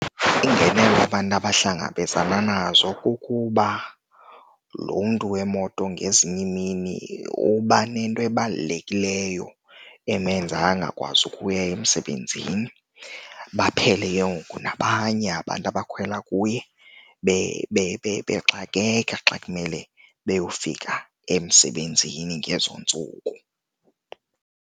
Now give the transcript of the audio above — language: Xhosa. Iingenelo abantu abahlangabezana nazo kukuba lo mntu wemoto ngezinye iimini uba nento ebalulekileyo emenza angakwazi ukuya emsebenzini. Baphele ke ngoku nabanye abantu abakhwela kuye bexakeka xa kumele beyofika emsebenzini ngezo ntsuku.